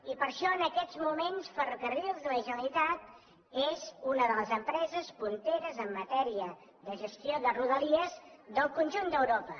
i per això en aquests moments ferrocarrils de la generalitat és una de les empreses punteres en matèria de gestió de rodalies del conjunt d’europa